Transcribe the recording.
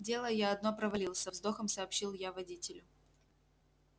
дело я одно провалил со вздохом сообщил я водителю